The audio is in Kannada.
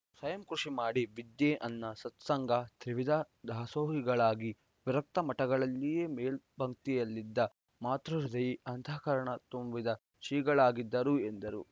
ಸ್ವಯಂ ಕೃಷಿ ಮಾಡಿ ವಿದ್ಯೆ ಅನ್ನ ಸತ್ಸಂಗ ತ್ರಿವಿಧ ದಾಸೋಹಿಗಳಾಗಿ ವಿರಕ್ತ ಮಠಗಳಲ್ಲಿಯೇ ಮೇಲ್ಪಂಕ್ತಿಯಲ್ಲಿದ್ದ ಮಾತೃಹೃದಯಿ ಅಂತಃಕರಣ ತುಂಬಿದ ಶ್ರೀಗಳಾಗಿದ್ದರು ಎಂದರು